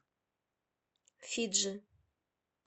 фиджи